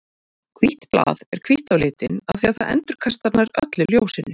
Hvítt blað er hvítt á litinn af því að það endurkastar nær öllu ljósinu.